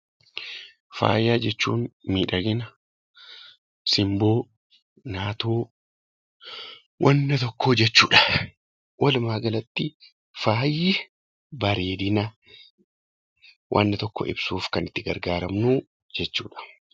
Faayaa jechuun miidhagina , simboo, naatoo, wanta tokko jechuudha. Walumaa galatti faayi bareedina wanta tokko ibsuuf kan itti gargaaramnu jechuudha.